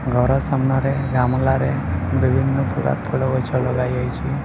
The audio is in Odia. ଘର ସାମ୍ନାରେ ବିଭିନ୍ନ ପ୍ରକାର ଫଳ ଗଛ ଲଗାଯାଇଚି ।